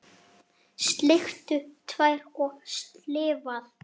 Sleikt tær og slefað.